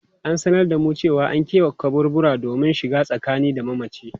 An sanar da mu cewa an kebe kaburbura domin shiga tsakani da mamacin.